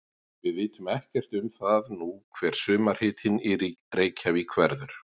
Við vitum ekkert um það nú hver sumarhitinn í Reykjavík verður.